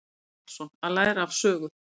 Gunnar Karlsson: Að læra af sögu.